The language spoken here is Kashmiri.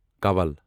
کَول